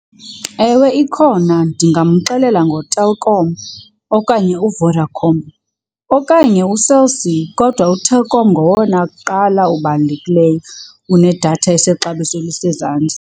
Ewe, ikhona. Ndingamxelela ngoTelkom, okanye uVodacom, okanye uCell C kodwa uTelkom ngowona kuqala ubalulekileyo unedatha esexabiso elisezantsi.